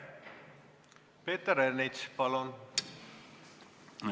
Peeter Ernits, palun!